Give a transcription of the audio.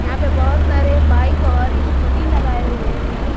यहां पे बहुत सारे बाइक और स्कूटी लगाए हुए हैं।